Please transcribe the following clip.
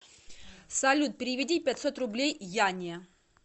салют переведи пятьсот рублей яне